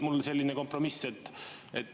Mul on selline kompromissettepanek.